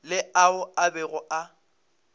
le ao a bego a